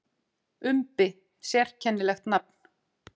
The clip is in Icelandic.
Umbi: Sérkennilegt nafn.